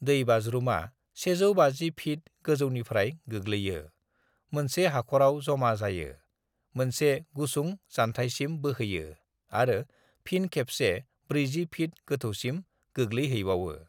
"दैबाज्रुमा 150 फीट गोजौनिफ्राय गोग्लैयो, मोनसे हाख'राव जमा जायो, मोनसे गुसुं जानथायसिम बोहैयो आरो फिन खेबसे 40 फीट गोथौसिम गोग्लैहैबावो।"